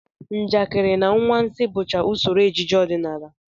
Njakịrị na anwansị bụcha usoro ejije ọdịnala